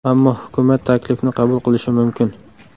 Ammo hukumat taklifni qabul qilishi mumkin.